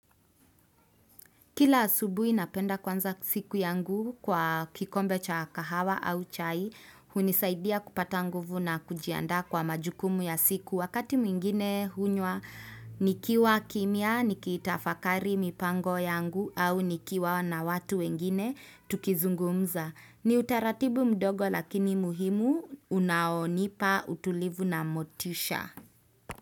Kila asubuhi napenda kuanza siku yangu kwa kikombe cha kahawa au chai hunisaidia kupata nguvu na kujianda kwa majukumu ya siku wakati mwingine hunywa nikiwa kimya, nikiitafakari mipango yangu au nikiwa na watu wengine tukizungumza. Ni utaratibu mdogo lakini muhimu unaonipa utulivu na motisha.